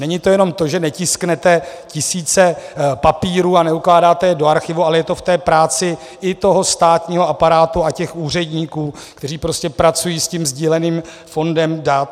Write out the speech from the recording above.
Není to jenom to, že netisknete tisíce papírů a neukládáte je do archivu, ale je to v té práci i toho státního aparátu a těch úředníků, kteří prostě pracují s tím sdíleným fondem dat.